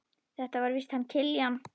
Þetta er víst hann Kiljan.